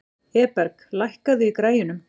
Eberg, lækkaðu í græjunum.